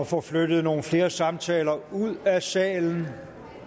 få flyttet nogle flere samtaler ud af salen